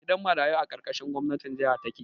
Gidan marayu a ƙarƙashin gwamnatin jaha take